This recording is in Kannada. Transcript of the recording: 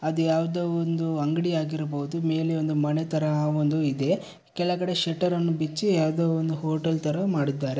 ಅದ್ಯಾವ್ದೋ ಒಂದು ಅಂಗ್ಡಿ ಆಗಿರ್ಬೋದು ಮೇಲೆ ಒಂದು ಮನೆ ಥರ ಒಂದು ಇದೆ ಕೆಳಗಡೆ ಶೆಟ್ಟರ್ ಅನ್ನು ಬಿಚ್ಚಿ ಯಾವ್ದೋ ಒಂದು ಹೋಟೆಲ್ ಥರ ಮಾಡಿದ್ದಾರೆ.